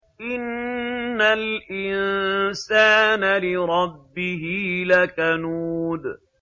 إِنَّ الْإِنسَانَ لِرَبِّهِ لَكَنُودٌ